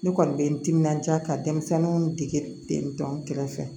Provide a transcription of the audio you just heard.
Ne kɔni bɛ n timinanja ka denmisɛnninw degi ten tɔ n kɛrɛfɛ